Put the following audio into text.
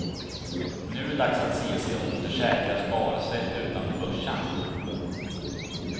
Nu är det dags att se sig om efter säkra sparsätt utanför börsen.